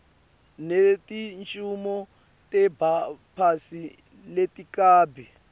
netincumo tebaphatsi letikabi